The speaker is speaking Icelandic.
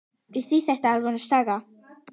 Því þetta er alvöru saga.